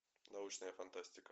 научная фантастика